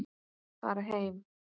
Fara heim.